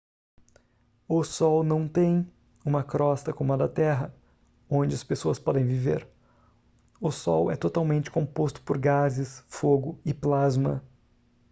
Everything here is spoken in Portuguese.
o sol não tem uma crosta como a da terra onde as pessoas podem viver o sol é totalmente composto por gases fogo e plasma